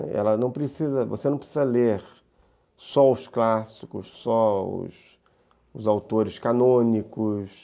Ela não precisa, você não precisa ler só os clássicos, só os autores canônicos,